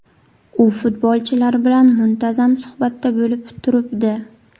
U futbolchilar bilan muntazam suhbatda bo‘lib turibdi.